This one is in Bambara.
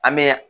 An bɛ